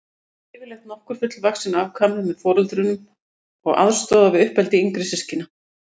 Því eru yfirleitt nokkur fullvaxin afkvæmi með foreldrunum og aðstoða við uppeldi yngri systkina.